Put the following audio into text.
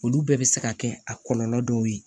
Olu bɛɛ bɛ se ka kɛ a kɔlɔlɔ dɔw ye